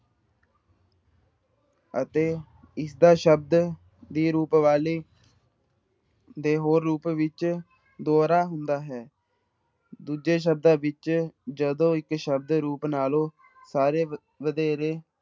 ਅਤੇ ਇਸਦਾ ਸ਼ਬਦ ਦੇ ਰੂਪ ਵਾਲੇ ਦੇ ਹੋਰ ਰੂਪ ਵਿੱਚ ਦੋਹਰਾ ਹੁੰਦਾ ਹੈ ਦੂਜੇ ਸ਼ਬਦਾਂ ਵਿੱਚ ਜਦੋਂ ਇੱਕ ਸ਼ਬਦ ਰੂਪ ਨਾਲੋਂ ਸਾਰੇ ਵਧੇਰੇ